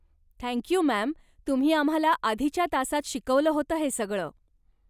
Thank you, ma'am, तुम्ही आम्हाला आधीच्या तासात शिकवलं होतं हे सगळ.